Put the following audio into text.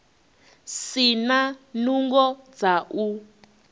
si na nungo dza u